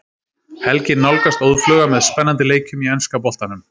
Helgin nálgast óðfluga með spennandi leikjum í enska boltanum.